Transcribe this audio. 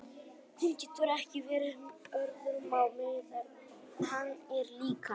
Hún getur ekki verið með öðrum á meðan hann er líka.